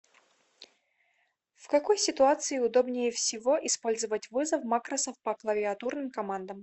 в какой ситуации удобнее всего использовать вызов макросов по клавиатурным командам